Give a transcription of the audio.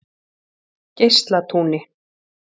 Geislatúni